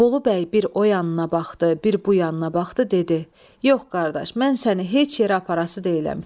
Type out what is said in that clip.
Bolu bəy bir o yanına baxdı, bir bu yanına baxdı, dedi: "Yox, qardaş, mən səni heç yerə aparası deyiləm."